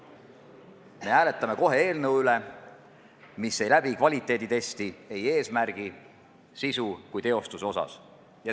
Kohe hääletame me eelnõu üle, mis ei läbi kvaliteeditesti ei eesmärgi, sisu ega teostuse osas.